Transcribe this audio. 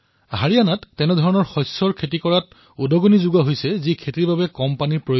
হাৰিয়ানাত অল্পসংখ্যক পানীৰ প্ৰয়োজন হোৱা শস্যসমূহৰ বাবে উৎসাহ জনোৱা হৈছে